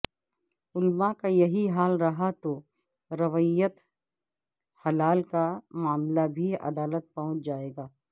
علماء کا یہی حال رہا تو رویت ہلال کا معاملہ بھی عدالت پہنچ جائے گا